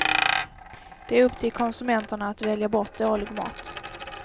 Det är upp till konsumenterna att välja bort dålig mat.